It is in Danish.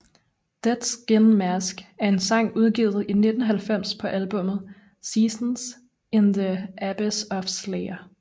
Dead Skin Mask er en sang udgivet i 1990 på albummet Seasons in the Abyss af Slayer